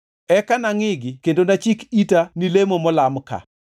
Eka nangʼigi kendo nachik ita ni lemo molam ka.